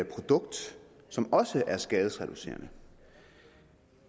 produkt som også er skadesreducerende